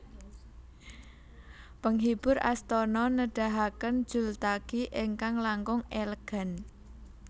Penghibur astana nedahaken jultagi ingkang langkung elegan